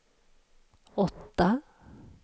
åtta